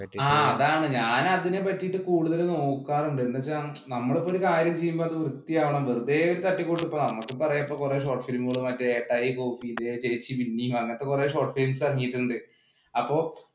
ആ അതാണ് ഞാൻ അതിനെ പറ്റീട്ട് കൂടുതല്‍ നോക്കാറുണ്ട്. എന്ന് വെച്ചാ നമ്മള് ഇപ്പം ഒരു കാര്യം ചെയ്യുമ്പോള്‍ വൃത്തിയാവണം. വെറുതെ ഒരു തട്ടിക്കൂട്ട് ഇപ്പൊ നമ്മക്കിപ്പം അറിയാം. ഇപ്പം കൊറേ short film ഉകള്‍ മറ്റേ കൈകൂപ്പി, ദേ ചേച്ചി മിന്നി അങ്ങനെ കുറെ short film ഇറങ്ങിയിട്ടുണ്ട്